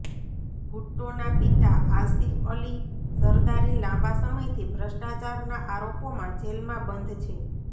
ભુટ્ટોના પિતા આસિફ અલી ઝરદારી લાંબા સમયથી ભ્રષ્ટાચારના આરોપોમાં જેલમાં બંધ છે